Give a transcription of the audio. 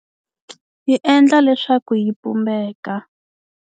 Yi endla leswaku yi pumbeka.